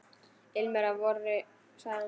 Ilmur af vori sagði hann.